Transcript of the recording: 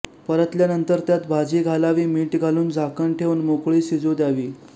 परतल्यानंतर त्यात भाजी घालावी मीठ घालून झाकण ठेवून मोकळी शिजू द्यावी